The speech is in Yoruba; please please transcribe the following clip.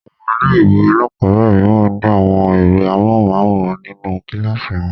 Àwọn ilé-ìwé alákọ̀ọ́bẹ̀rẹ̀ mìíràn ní àwọn ẹ̀rọ amóhùmáwòhán nínú kíláàsì wọn.